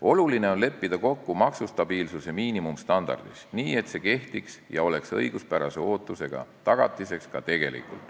Oluline on leppida kokku maksustabiilsuse miinimumstandardis, nii et see kehtiks ja oleks ka tegelikult õiguspärase ootuse tagatiseks.